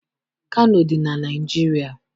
Kano dị na Naịjirịa.